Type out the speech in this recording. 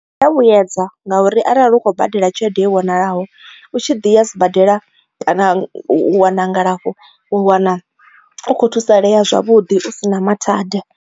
Zwia vhuyedza ngauri arali u khou badela tshelede i vhonalaho u tshi ḓi ya sibadela kana wana ngalafho wa wana u khou thusalea zwavhuḓi u si na mathada.